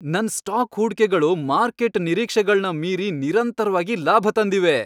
ನನ್ ಸ್ಟಾಕ್ ಹೂಡ್ಕೆಗಳು ಮಾರ್ಕೆಟ್ ನಿರೀಕ್ಷೆಗಳ್ನ ಮೀರಿ ನಿರಂತರ್ವಾಗಿ ಲಾಭ ತಂದಿವೆ.